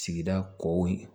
Sigida kɔ